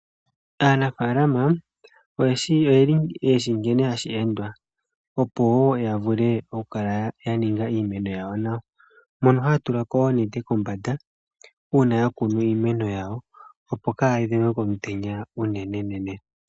Aanafalama oyeli yeshi nkene hashi endwa, opo wo ya vule oku kala ya ninga iimeno yawo nawa. Mono haya tulako oonete kombanda, una ya kuna iimeno yawo, opo kayi dhengwe komutenya unenenene.